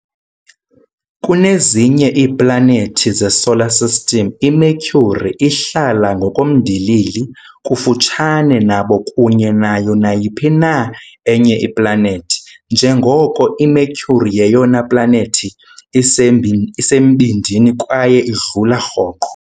kunezinye iiplanethi zeSolar System, iMercury ihlala ngokomndilili kufutshane nabo kunye nayo nayiphi na enye iplanethi, njengoko iMercury yeyona planethi isembindini kwaye idlula rhoqo.